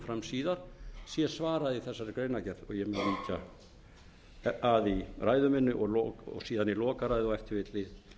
fram síðar sé svarað í þessari greinargerð og ég mun víkja að í ræðu minni og síðan í lokaræðu og ef til vill í